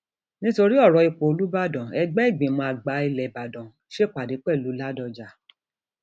nítorí ọrọ ipò ọúbàdàn ẹgbẹ ìgbìmọ àgbà ilé ìbàdàn ìbàdàn ṣèpàdé pẹlú ládọjá